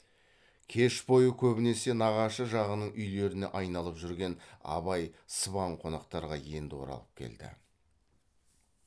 кеш бойы көбінесе нағашы жағының үйлеріне айналып жүрген абай сыбан қонақтарға енді оралып келді